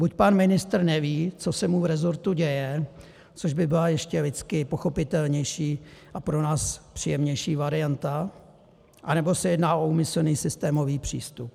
Buď pan ministr neví, co se mu v rezortu děje, což by byla ještě lidsky pochopitelnější a pro nás příjemnější varianta, anebo se jedná o úmyslný systémový přístup.